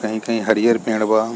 कहीं-कहीं हरियर पेड़ बा।